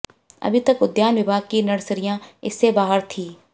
अभी तक उद्यान विभाग की नर्सरियां इससे बाहर थीं